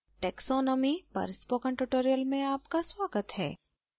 taxonomy पर spoken tutorial में आपका स्वागत है